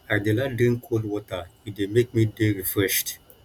i dey like drink cold water e dey make me dey refreshed